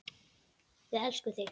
Við elskum þig!